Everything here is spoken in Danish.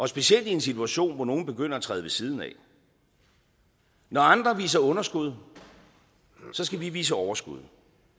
specielt i en situation hvor nogen begynder at træde ved siden af når andre viser underskud skal vi vise overskud